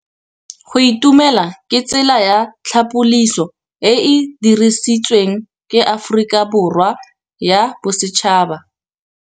Go itumela ke tsela ya tlhapolisô e e dirisitsweng ke Aforika Borwa ya Bosetšhaba.